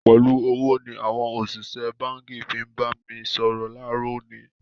Pẹ̀lú ọ̀wọ̀ ni àwọn òṣìṣẹ́ báǹkì fi ń bá mi sọ̀rọ̀ láàárọ̀ òní